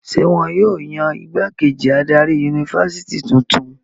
Ṣé wọn yóò yan ìgbákejì adarí yunifásitì tuntun?